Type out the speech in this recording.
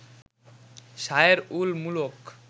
শায়ের উল মুলক